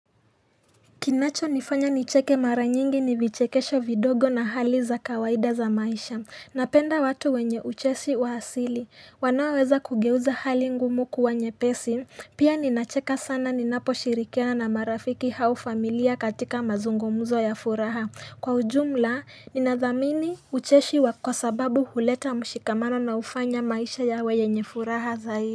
Kinachonifanya nicheke mara nyingi ni vichekesho vidogo na hali za kawaida za maisha, napenda watu wenye uchesi wa asili, wanaoweza kugeuza hali ngumu kuwa nyepesi, pia ninacheka sana ninaposhirikiana na marafiki au familia katika mazungumuzo ya furaha, kwa ujumla, ninathamini ucheshi wa kwa sababu huleta mshikamano na hufanya maisha yawe yenye furaha zaidi.